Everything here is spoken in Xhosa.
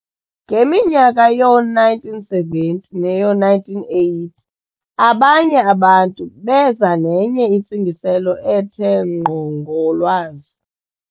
ngeminyaka yoo- 1970 neyoo-1980, abanye abantu beza nenye intsingiselo ethe ngqo ngo"lwazi".